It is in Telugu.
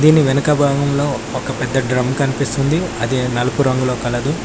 దీని వెనుక భాగంలో ఒక పెద్ద డ్రం కనిపిస్తుంది అది నలుపు రంగులో కలదు.